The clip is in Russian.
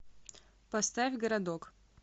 поставь городок